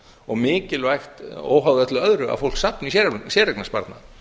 og mikilvægt óháð öllu öðru að fólk safni í séreignarsparnað